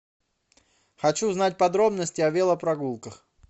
хочу узнать подробности о велопрогулках